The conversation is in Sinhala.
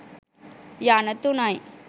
යන තුනයි.